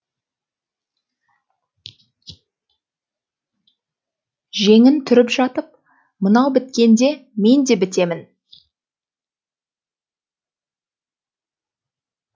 жеңін түріп жатып мынау біткенде мен де бітемін